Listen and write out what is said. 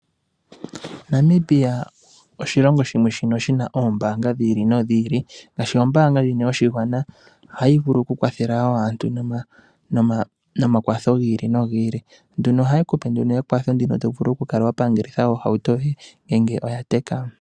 Namibia oshilongo shimwe shono shina oombaanga dhomaludhi gi ili nogi ili. Ngaashi ombaanga ndjino yoshigwana, ohayi vulu oku kwathela aantu no makwatho gi ili nogi ili. Ohayi kupe nduno ekwatho ndino to vulu oku kala wa pangelitha ohauto yoye ngele oya teka.